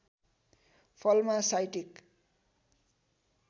फलमा साइटिक